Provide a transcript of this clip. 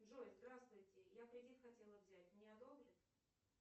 джой здравствуйте я кредит хотела взять мне одобрят